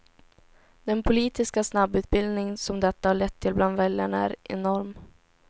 Den politiska snabbutbildning som detta har lett till bland väljarna är enorm.